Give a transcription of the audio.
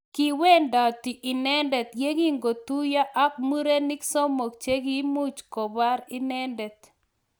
Kiwendati inendet yekingotuiyo ak murenik somok chekimuch kopor inendet.